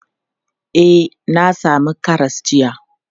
E, na sami karas jiya.